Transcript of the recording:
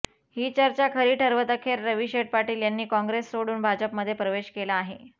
ही चर्चा खरी ठरवत अखेर रवीशेठ पाटील यांनी काँग्रेस सोडून भाजपमध्ये प्रवेश केला आहे